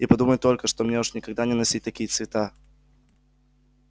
и подумать только что мне уж никогда не носить такие цвета